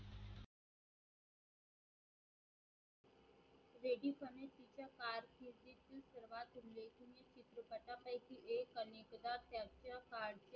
त्या काळ